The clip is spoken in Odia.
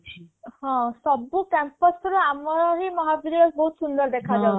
ହଁ ସବୁ campus ର ଆମର ହି ମହା ବହୁତ ସୁନ୍ଦର ଦେଖା ଯାଉ ଥିଲା